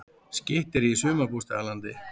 Skytterí í sumarbústaðalandi